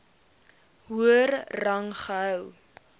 hoër rang gehou